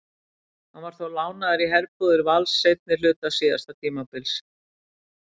Hann var þó lánaður í herbúðir Vals seinni hluta síðasta tímabils.